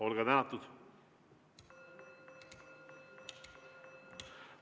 Olge tänatud!